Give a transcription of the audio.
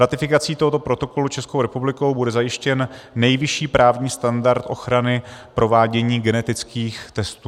Ratifikací tohoto protokolu Českou republikou bude zajištěn nejvyšší právní standard ochrany provádění genetických testů.